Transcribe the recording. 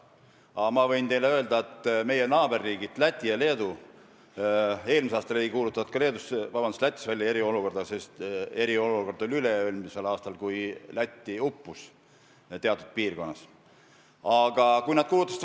Aga ma võin teile öelda, et mis puudutab meie naaberriike Lätit ja Leedut, siis eelmisel aastal ei kuulutatud ka Lätis välja eriolukorda, eriolukord oli üle-eelmisel aastal, kui Läti teatud piirkonnas uputas.